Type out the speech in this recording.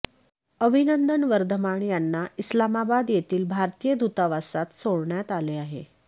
अभिनंदन वर्धमान यांना इस्लामाबाद येथील भारतीय दूतावासात सोडण्यात आले आहे